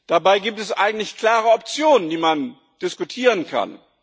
Dabei gibt es eigentlich klare Optionen, die man diskutieren kann.